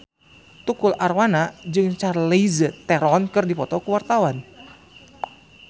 Tukul Arwana jeung Charlize Theron keur dipoto ku wartawan